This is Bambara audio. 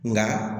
Nka